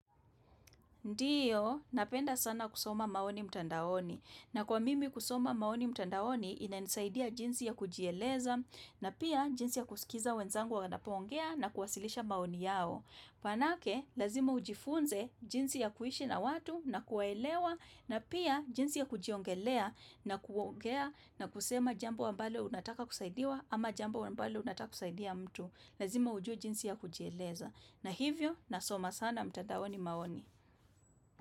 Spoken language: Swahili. Ndiyo, napenda sana kusoma maoni mtandaoni na kwa mimi kusoma maoni mtandaoni inanisaidia jinsi ya kujieleza na pia jinsi ya kusikiza wenzangu wapoongea na kuwasilisha maoni yao. Maanake, lazima ujifunze jinsi ya kuishi na watu na kuwaelewa na pia jinsi ya kujiongelea na kuongea na kusema jambo ambalo unataka kusaidiwa ama jambo ambalo unataka kusaidia mtu. Lazima ujue jinsi ya kujieleza. Na hivyo, nasoma sana mtandaoni maoni.